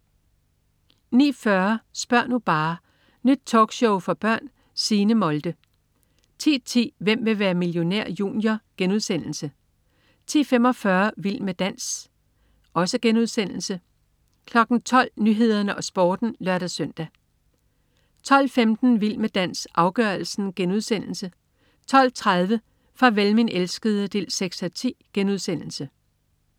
09.40 Spør' nu bare! Nyt talkshow for børn. Signe Molde 10.10 Hvem vil være millionær? Junior* 10.45 Vild med dans* 12.00 Nyhederne og Sporten (lør-søn) 12.15 Vild med dans, afgørelsen* 12.30 Farvel min elskede 6:10*